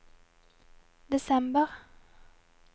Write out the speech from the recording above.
desember